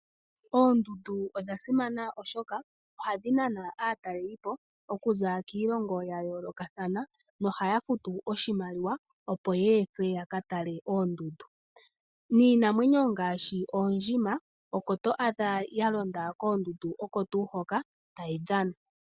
Oondundu odha simana oshoka ohadhi nana aataleli po, okuza kiilongo ya yoolokathana nohaya futu oshimaliwa, opo ye ethwe yaka tale oondundu, niinamwenyo ngaashi oondjima oko to adha ya londa koondundu oko tuu hoka tayi dhana.